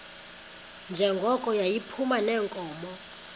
njengoko yayiphuma neenkomo